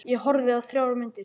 Ég horfði á þrjár myndir.